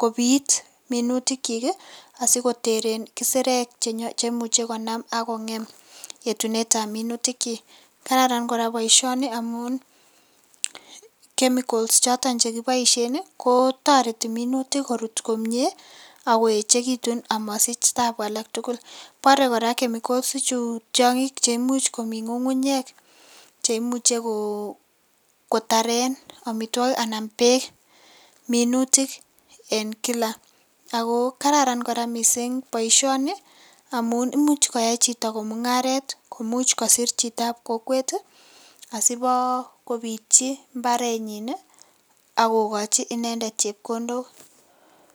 kobit minutikchik ii asikoteren kisirek cheimuche konam akongem yetunetab minutikchik, kararan koraa boisioni amun chemicals choton chekiboishen ii kotoreti minutik koechekitun komie amosich tabu aketugul, bore koraa chemicals tiongik cheimuch komi ngungunyek cheimuche kotaren omitwokik anan beek minutik en kila, ako kararan missing' koraa boisioni imuche koyai chito komungaret komuch kosir chitab kokwet ii asibokobitchi imbarenyin ii akokochi inendet chepkondok.